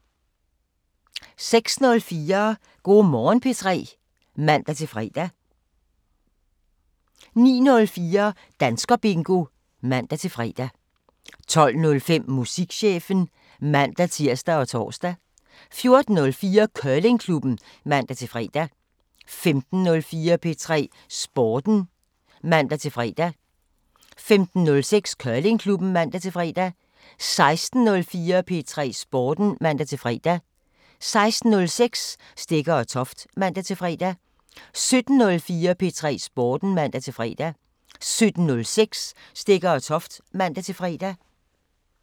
06:04: Go' Morgen P3 (man-fre) 09:04: Danskerbingo (man-fre) 12:05: Musikchefen (man-tir og tor) 14:04: Curlingklubben (man-fre) 15:04: P3 Sporten (man-fre) 15:06: Curlingklubben (man-fre) 16:04: P3 Sporten (man-fre) 16:06: Stegger & Toft (man-fre) 17:04: P3 Sporten (man-fre) 17:06: Stegger & Toft (man-fre)